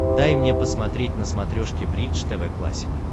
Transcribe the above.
дай мне посмотреть на смотрешке бридж тв классик